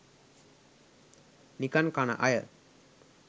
නිකන් කන අය.